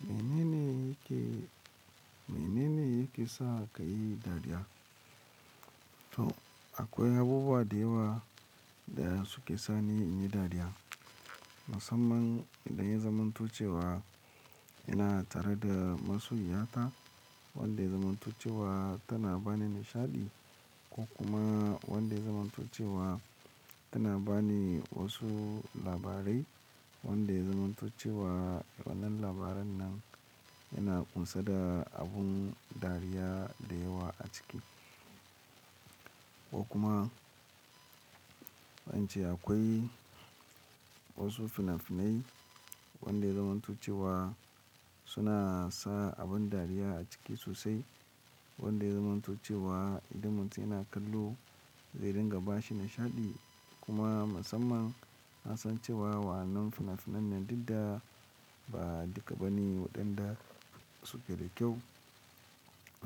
Mene ne yake, mene ne yake sa ka yi dariya? To akwai abubuwa da yawa da suke sa ni in yi dariya. Musamman idan ya zamanto cewa ina tare da masoya ta wanda ya zamanto cewa tana bani nishaɗi ko kuma wanda zamanto cewa tana bani wasu labarai wanda ya zamanto cewa wannan labaran nan yana ƙunsa da abun dariya da yawa a ciki. Ko kuma wacce akwai wasu fina-finai wanda zamanto cewa suna sa abin dariya a ciki sosai wanda zamanto cewa idan mutum yana kallo zai dinga bashi nishaɗi. Kuma musamman na san cewa wannan fina-finan nan dukada ba duka bane waɗanda suke da kyau